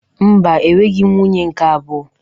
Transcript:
Mba, enweghị m nwunye nke abụọ.